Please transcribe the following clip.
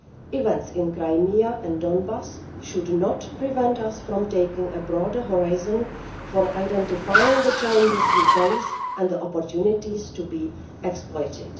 Events in Crimea and Donbas should not prevent us from taking a broader horizon for identifying the challenges we face and the opportunities to be exploited.